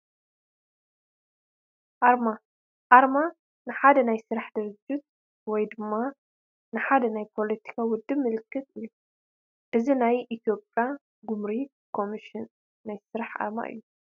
ኣርማ፡- ኣርማ ንሓደ ናይ ስራሕ ድርጅት ወይ ድማ ንሓደ ናይ ፓለቲካዊ ውድብ ምልክት እዩ፡፡ እዚ ናይ ኤ/ያ ጉምሩክ ኮምሽን ናይ ስራሕ ኣርማ እዩ፡፡